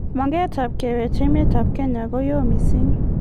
maget ab kewech emet ab kenya ko yo mising